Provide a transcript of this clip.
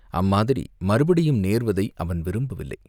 அம்மாதிரி மறுபடியும் நேர்வதை அவன் விரும்பவில்லை.